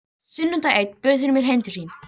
Sunnudag einn bauð hún mér heim til sín.